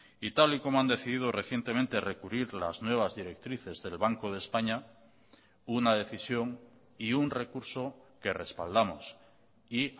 y tal y como han decidido recientemente recurrir las nuevas directrices del banco de españa una decisión y un recurso que respaldamos y